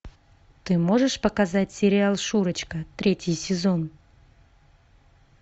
ты можешь показать сериал шурочка третий сезон